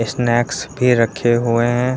Snacks भी रखे हुए हैं।